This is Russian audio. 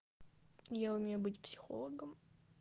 я умею быть психологом